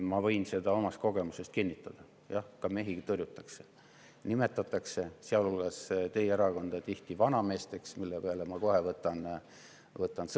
Ma võin seda omast kogemusest kinnitada, et ka mehi tõrjutakse, nimetatakse tihti, sealhulgas teie erakonna, vanameesteks, mille peale ma kohe sõna võtan.